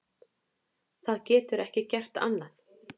Það getur ekki gert annað.